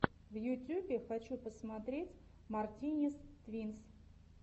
в ютюбе хочу посмотреть мартинез твинс